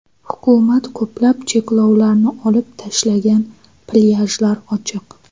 Hukumat ko‘plab cheklovlarni olib tashlagan, plyajlar ochiq.